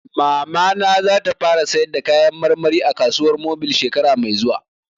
Mamana za ta fara sayar da kayan marmari a kasuwar mobil shekara mai zuwa